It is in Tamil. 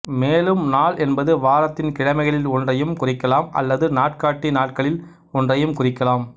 மேலும் நாள் என்பது வாரத்தின் கிழமைகளில் ஒன்றையும் குறிக்கலாம் அல்லது நாட்காட்டி நாட்களில் ஒன்றையும் குறிக்கலாம்